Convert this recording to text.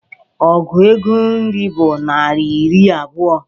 Ọgụ ego iri bụ naira iri abuo